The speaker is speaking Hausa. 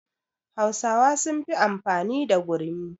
Hausawa sun fi amfani da gurmi